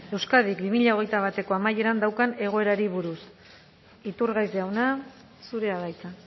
euskadik bi mila hogeita bateko amaieran daukan egoerari buruz iturgaiz jauna zurea da hitza